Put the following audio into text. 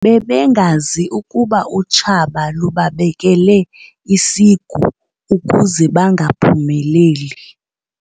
Bebengazi ukuba utshaba lubabekele isigu ukuze bangaphumeleli.